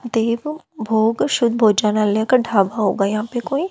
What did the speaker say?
देवभोग शुद्ध भोजनालय का ढाबा होगा यहां पे कोई।